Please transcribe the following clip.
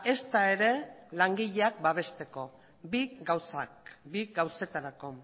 ezta ere langileak babesteko bi gauzak bi gauzetarako